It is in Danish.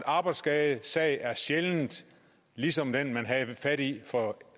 arbejdsskadesag er sjældent ligesom den man havde fat i for